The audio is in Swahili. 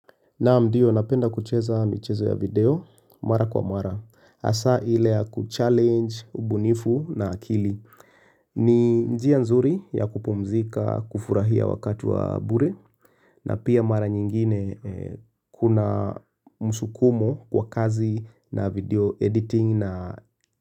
Naam, ndiyo napenda kucheza michezo ya video, mara kwa mara, asa ile ya kuchallenge ubunifu na akili. Ni njia nzuri ya kupumzika kufurahia wakati wa bure, na pia mara nyingine kuna mshukumo kwa kazi na video editing na.